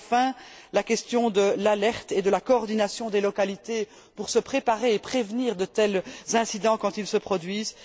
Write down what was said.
Enfin, la question de l'alerte et de la coordination des localités pour se préparer et prévenir de tels incidents quand ils se produisent.